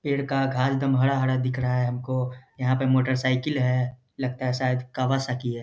पेड़ का घास एकदम हरा-हरा दिख रहा है हमको यहां पर मोटर साइकिल है लगता है शायद कावा साह की है।